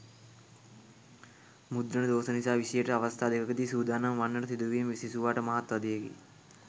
මුද්‍රණ දෝෂ නිසා විෂයයට අවස්ථා දෙකකදී සූදානම් වන්නට සිදු වීම සිසුවාට මහත් වධයකි.